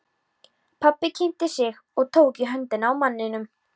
Pabbi kynnti sig og tók í höndina á manninum.